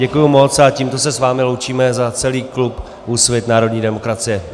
Děkuji moc a tímto se s vámi loučíme za celý klub Úsvit - Národní demokracie.